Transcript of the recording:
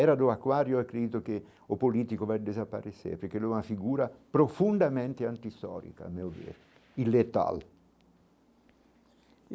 Era do aquário, acredito, que o político vai desaparecer, porque é uma figura profundamente anti, meu ver, e letal.